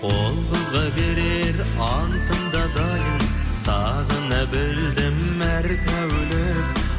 ол қызға берер антым да дайын сағына білдім әр тәулік